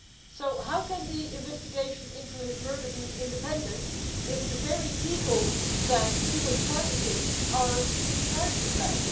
So how can the investigation into his murder be independent if the very people he was targeting are in charge of that?